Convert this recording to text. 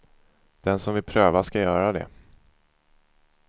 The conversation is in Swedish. Den som vill pröva ska göra det.